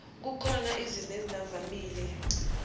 kukhona izimo ezingavamile